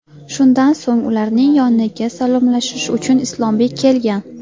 Shundan so‘ng ularning yoniga salomlashish uchun Islombek kelgan.